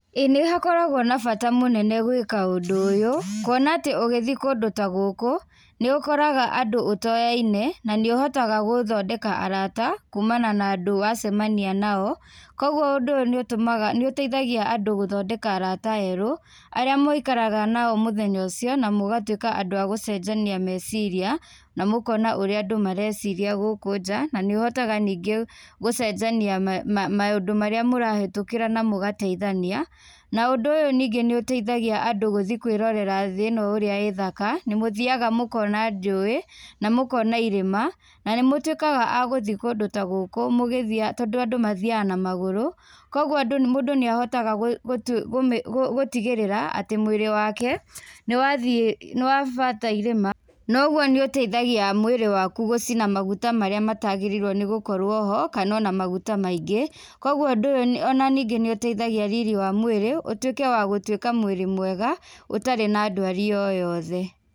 ĩĩ nĩhakoragwo na bata mũnene gwĩka ũndũ ũyũ, kuona atĩ ũgítjii kũndũ ta gũkũ, nĩúkoraga andũ ũtoyainé, nanĩũhotaga gũthondeka arata kumana na andũ acio wacemania nao, koguo ũndũ ũyũ nĩũtũmaga nĩũteithagia andũ gũthondeka arata erũ, arĩa mũikaraga nao mũthenya ũcio na mũgatwĩka andũ a gũcenjania meciria, na mũkona ũría andú mareciria gúkũ nja naníúhotaga ningí gũcenjania ma ma maũndũ marĩa mũrahĩtũkĩra na mũgateithania, na ũndũ ũyú nĩũteithagia andũ gũthiĩ kwĩrorera thĩ-ĩno ũrĩa ĩ thaka, nĩmũthiaga mũkona njũĩ, na mũkona irĩma, na nĩmũtwĩkaga a gũthii kũndũ ta gũkũ mũgĩthia tondũ andũ mathiaga na magũrũ, koguo andũ mũndũ nĩahaotaga gũ gũtu gũmĩ gũ gũtigĩrĩra, atĩ mwĩrĩ, nĩwathiĩ, nĩwabata irĩma, noguo nĩũteithagia mwĩrĩ waku gũcina maguta marĩa matagĩrĩirwo nĩgũkorwo ho, kanona maguta maingĩ, koguo ũndũ ũyũ ona ningĩ nĩũteithagia riri wa mwĩrĩ, ũtwĩke wa gũtwĩka mwĩrĩ mwega, ũtarĩ na ndwari o yothe.